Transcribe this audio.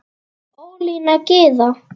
Ólína Gyða.